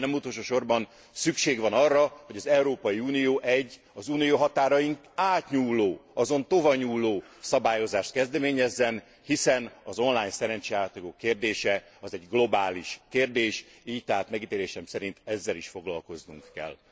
Végül, de nem utolsósorban, szükség van arra, hogy az Európai Unió egy, az Unió határain átnyúló, azon tovanyúló szabályozást kezdeményezzen, hiszen az online szerencsejátékok kérdése, az egy globális kérdés, így tehát megítélésem szerint ezzel is foglalkoznunk kell.